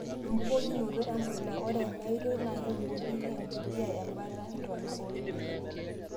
Embukokinoto empuliya:Ore ena enaoitoi naa kebukoki empuliya embata ntonaa oorkiek.